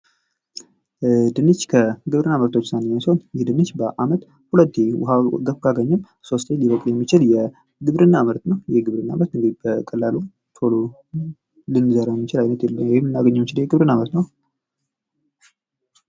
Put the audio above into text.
ድንች ከግብርና ምርቶች ውስጥ አንዱ ሲሆን ይህ ድንች በአመት ሁለት ጊዜ ውሃን በመቆጣጠር ካገኘም ሶስቴ ሊበቅል የሚችል የግብርና ምርት ነው። ይህ ግብርና ምርት እንግዲህ በቀላሉ ቶሎ ልንዘረው ወይም ለናገኘው የምንችል የግብርና ዓይነት ነው።